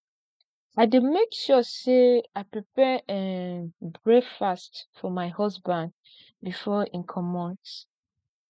i dey make sure sey i prepare um breakfast for my husband before im comot